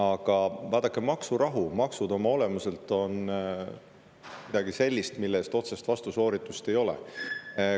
Aga vaadake, maksurahu ja maksud oma olemuselt on midagi sellist, mille puhul otsest vastusooritust ei ole.